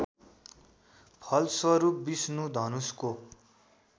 फलस्वरूप विष्णु धनुषको